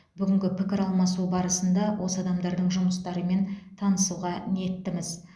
бүгінгі пікір алмасу барысында осы адамдардың жұмыстарымен танысуға ниеттіміз